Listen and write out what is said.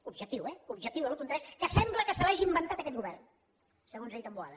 objectiu eh objectiu de l’un coma tres que sembla que se l’hagi inventat aquest govern segons ha dit en boada